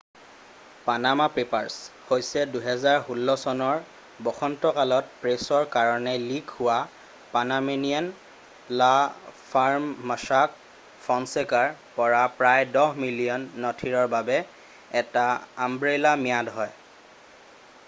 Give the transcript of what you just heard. """Panama papers" হৈছে ২০১৬ চনৰ বসন্তকালত প্ৰেছৰ কাৰণে লীক হোৱা পানামানিয়ান ল' ফাৰ্ম ম'ছাক ফ'নছেকাৰ পৰা প্ৰায় দহ মিলিয়ন নথিৰৰ বাবে এটা আমব্ৰেলা ম্যাদ হয়।""